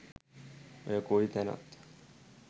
ඔය කොයි තැනත්